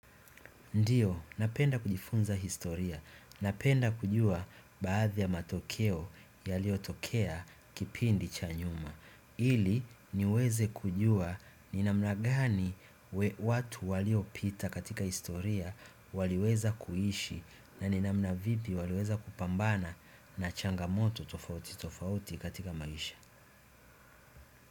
Ndiyo, napenda kujifunza historia. Napenda kujua baadhi ya matokeo yaliyotokea kipindi cha nyuma. Ili niweze kujua ni namna gani watu waliopita katika historia waliweza kuishi na ni namna vili waliweza kupambana na changamoto tofauti tofauti katika maisha.